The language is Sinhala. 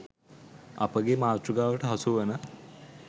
අපගේ මාතෘකාවට හසුවන